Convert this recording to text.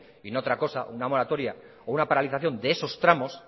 y no otra cosa una moratoria o una paralización de esos tramos